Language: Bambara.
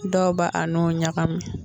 Dɔw b'a n'o ɲagamin.